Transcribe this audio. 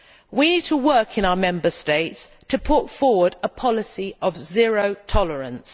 We need to work in our Member States to put forward a policy of zero tolerance.